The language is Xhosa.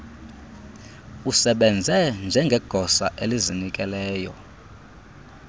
usebenze njengegosa elizinikeleyo